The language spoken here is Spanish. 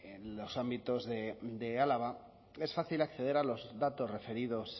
en los ámbitos de álava es fácil acceder a los datos referidos